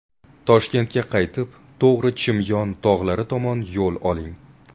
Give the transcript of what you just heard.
Toshkentga qaytib, to‘g‘ri Chimyon tog‘lari tomon yo‘l oling.